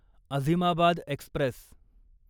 Azimabad Express